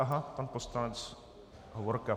Aha, pan poslanec Hovorka.